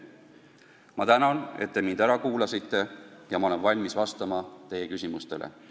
Ma tänan, et te mind ära kuulasite, ja olen valmis vastama teie küsimustele.